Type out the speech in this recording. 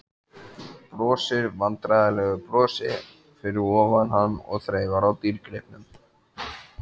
Brosir vandræðalegu brosi fyrir ofan hann og þreifar á dýrgripnum.